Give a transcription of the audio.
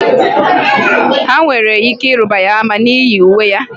Ha nwere ike ịruba ya ama n'ihi uwe ya